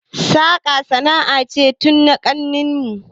Saƙa sana'a ce tun na kakanni mu